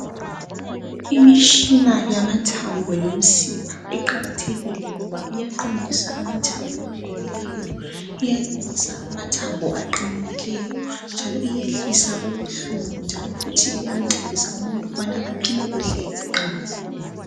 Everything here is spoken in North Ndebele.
Imitshina yamathambo lemsipha iqakathekile kakhulu ngoba iyaqondisa amathambo agobileyo .Iyalungisa amathambo aqamukileyo. Njalo iyehlisa ubuhlungu njalo futhi iyamncedisa umuntu ukubana aphile kuhle eqamukile.